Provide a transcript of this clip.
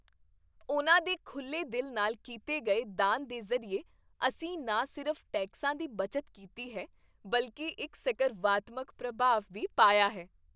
ਉਨ੍ਹਾਂ ਦੇ ਖੁੱਲ੍ਹੇ ਦਿਲ ਨਾਲ ਕੀਤੇ ਗਏ ਦਾਨ ਦੇ ਜ਼ਰੀਏ, ਅਸੀਂ ਨਾ ਸਿਰਫ਼ ਟੈਕਸਾਂ ਦੀ ਬੱਚਤ ਕੀਤੀ ਹੈ ਬਲਕਿ ਇੱਕ ਸਕਰਵਾਤਮਕ ਪ੍ਰਭਾਵ ਵੀ ਪਾਇਆ ਹੈ!